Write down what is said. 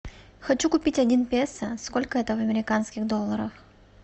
хочу купить один песо сколько это в американских долларах